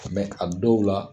Mɛ a dɔw la